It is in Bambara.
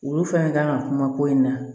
Olu fɛn kan ka kuma ko in na